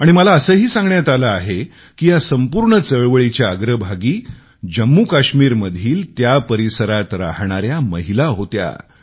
आणि मला असेही सांगण्यात आले आहे की या संपूर्ण चळवळीच्या अग्रभागी जम्मूकाश्मीरमधील त्या परिसरात राहणाऱ्या महिला होत्या